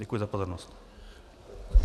Děkuji za pozornost.